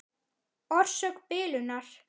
Orsök bilunar?